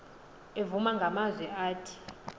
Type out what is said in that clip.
evuma ngamazwi athi